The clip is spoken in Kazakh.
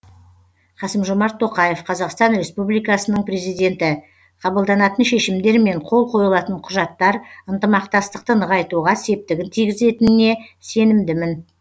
қасым жомарт тоқаев қазақстан республикасының президенті қабылданатын шешімдер мен қол қойылатын құжаттар ынтымақтастықты нығайтуға септігін тигізетініне сенімдімін